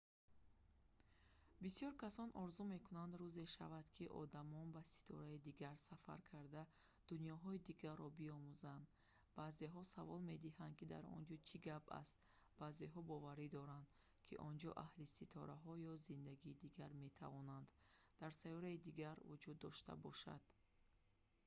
бисёр касон орзу мекунанд рӯзе шавад ки одамон ба ситораи дигар сафар карда дунёҳои дигарро биомӯзанд баъзеҳо савол медиҳанд ки дар он ҷо чӣ гап аст баъзеҳо боварӣ доранд ки онҷо аҳли ситораҳо ё зиндагии дигар метавонанд дар сайёраи дигар вуҷуд дошта бошад